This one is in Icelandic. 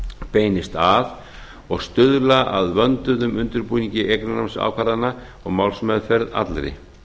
beinist að og stuðla að vönduðum undirbúningi eignarnámsákvarðana og málsmeðferð allri